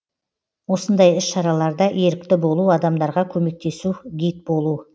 осындай іс шараларда ерікті болу адамдарға көмектесу гид болу